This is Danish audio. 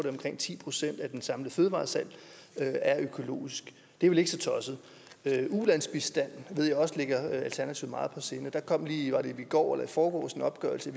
omkring ti procent af det samlede fødevaresalg der er økologisk det er vel ikke så tosset ulandsbistand ved jeg også ligger alternativet meget på sinde og der kom lige var det i går eller i forgårs en opgørelse